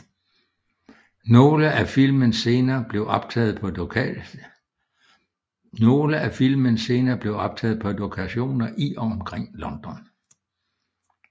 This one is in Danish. Nogle af filmens scener blev optaget på lokationer i og omkring London